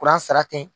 Kuran sara ten